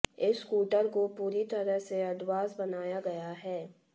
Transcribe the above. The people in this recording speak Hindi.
इस स्कूटर को पूरी तरह से एडवांस बनाया गया है